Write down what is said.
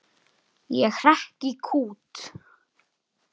Ég hrekk í kút.